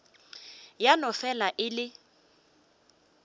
ya no fela e le